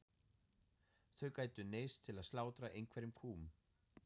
Þau gætu neyðst til að slátra einhverjum kúm.